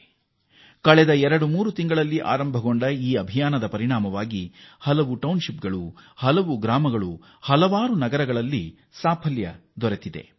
ಇದು ಕೇವಲ 23 ತಿಂಗಳುಗಳ ಹಿಂದೆ ಆರಂಭವಾದದ್ದಾದರೂ ಆಂದೋಲನವಾಗಿ ಸ್ಪಷ್ಟ ಪರಿಣಾಮ ಬೀರಿದೆ ಹಲವು ಪಟ್ಟಣ ಹಳ್ಳಿ ಹಾಗೂ ನಗರದಲ್ಲಿ ದೊಡ್ಡ ಯಶಸ್ಸು ಕಂಡಿದೆ